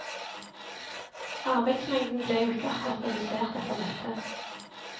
Arbeidsmengden ble jo ikke akkurat redusert etter dette.